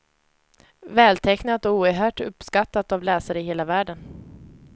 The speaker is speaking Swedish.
Vältecknat och oerhört uppskattat av läsare i hela världen.